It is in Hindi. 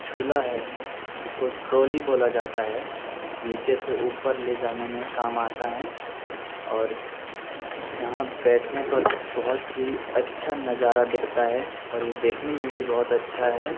झूला है जिसको ट्रॉली बोला जाता है। नीचे से ऊपर ले जाने में काम आता है और यहां बैठने पर बहुत ही अच्छा नज़ारा दिखता है और ये देखने में भी बहुत अच्छा है।